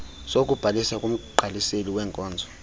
sokubhalisa kumgqaliseli weenkonzo